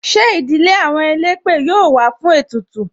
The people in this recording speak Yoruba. Ṣé ìdílé àwọn elépè yọ wá fún ètùtù?